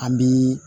An bi